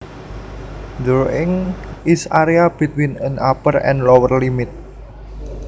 The range is area between an upper and lower limit